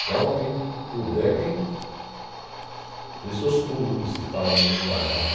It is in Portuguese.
Então, quem puder que dê seus pulos, como se fala no linguajar, né?